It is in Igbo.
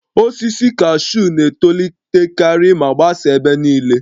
Osisi kashuu na-etolitekarị ma gbasaa ebe niile